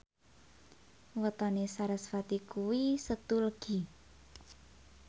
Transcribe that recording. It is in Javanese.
wetone sarasvati kuwi Setu Legi